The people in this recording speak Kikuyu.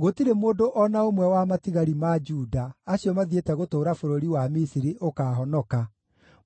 Gũtirĩ mũndũ o na ũmwe wa matigari ma Juda acio mathiĩte gũtũũra bũrũri wa Misiri ũkaahonoka,